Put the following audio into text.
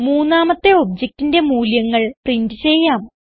മൂന്നാമത്തെ objectന്റെ മൂല്യങ്ങൾ പ്രിന്റ് ചെയ്യാം